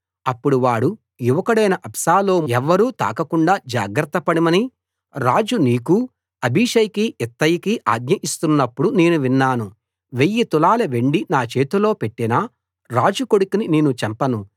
అప్పుడు వాడు యువకుడైన అబ్షాలోమును ఎవ్వరూ తాకకుండా జాగ్రత్తపడమని రాజు నీకూ అబీషైకీ ఇత్తయికీ ఆజ్ఞ ఇస్తున్నప్పుడు నేను విన్నాను వెయ్యి తులాల వెండి నా చేతిలో పెట్టినా రాజు కొడుకుని నేను చంపను